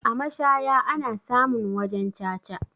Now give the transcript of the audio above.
A mashaya ana samun wajan caca.